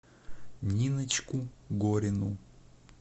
ниночку горину